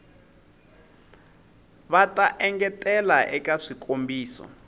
va ta engetela eka swikombiso